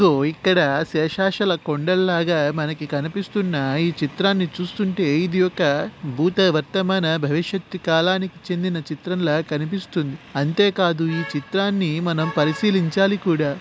లో ఇక్కడ శేషశల కొండల్లాగా మనకి కనిపిస్తున్న ఈ చిత్రాన్ని చూస్తుంటే ఇది ఒక భూత వర్తమాన భవిష్యత్తు కాలానికి చెందిన చిత్రంలా కనిపిస్తుంది. అంతే కాదు ఈ చిత్రాన్ని మనం పరిశీలించాలి కూడా.